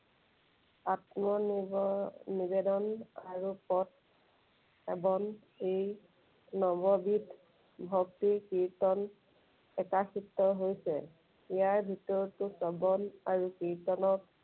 আত্মনিৰ্ভৰ, নিবেদন আৰু নৱবিধ ভক্তি কীৰ্ত্তন প্ৰকাশিত হৈছে। ইয়াৰ ভিতৰতো শ্ৰৱণ আৰু কীৰ্ত্তনক